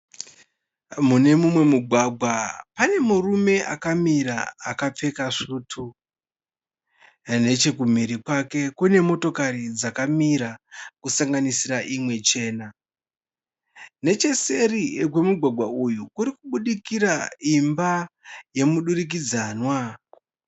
Mune mumwe mugwagwa pane murume akamira akapfeka svutu. Nechekumhiri kwake kune motokari dzakamira kusanganisira imwe chena. Necheseri kwemugwagwa uyu kurikubudikira imba yemudurikidzanwa.